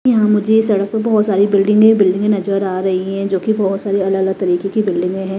यहां मुझे सड़क पर बहुत सारी बिल्डिंगे बिल्डिंगे नजर आ रही है जो कि बहुत सारी अलग-अलग तरीके की बिल्डिंगें हैं।